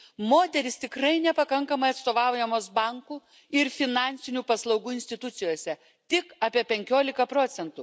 Moterims tikrai nepakankamai atstovaujama bankų ir finansinių paslaugų institucijose tik apie 15 procentų.